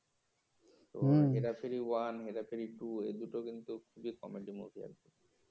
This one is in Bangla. তো হেরা ফেরি ওয়ান হেরা ফেরি টু এ দুটো কিন্তু খুবই কমেডি মুভি আছে